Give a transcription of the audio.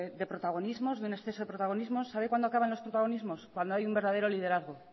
de protagonismos de un exceso de protagonismo sabe cuándo acaban los protagonismos cuando hay un verdadero liderazgo